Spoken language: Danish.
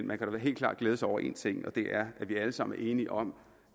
man kan vel helt klart glæde sig over en ting og det er at vi alle sammen er enige om